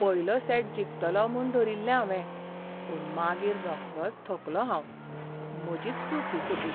पयलो सेट जिखतलों म्हूण धरिल्लें हांवें, पूण मागीर रोखडोच थकलों हांव. म्हजीच चूक ही सगळी.